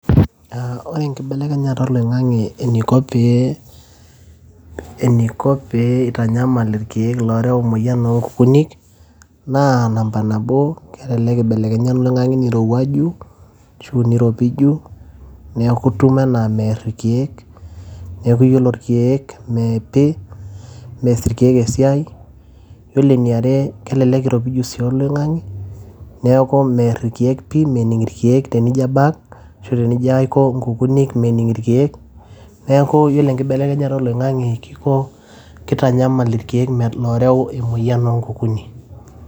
Ore enkibelekenyata oloing`ang`e eniko pee, eniko pee eitanyamal ilkiek looreu emoyian oo nkukuni naa namba nabo kelelek eibelekenya oloing`ang`e nirowuaju ashu eiropiju. Niaku itum enaa mear ikiek niaku yiolo ilkiek mme pii meas ilkiek esiai . Ore eniare elelek iropiju sii oloing`ang`e niaku meer irkiek mening irkiek pii tenijo abak ashu tenijo aiko nkukuni mening irkiek. Niaku ore enkibelekenyata oloing`ang`e kiko kitanyamal irkiek looreu emoyian oo nkukuni.